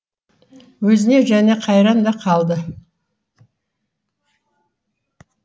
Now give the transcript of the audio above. өзіне және қайран да қалды